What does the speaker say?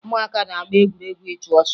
Ụmụaka na-agba egwuregwu ịchụ ọsọ